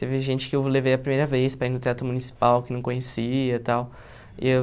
Teve gente que eu levei a primeira vez para ir no Teatro Municipal, que não conhecia e tal. E eu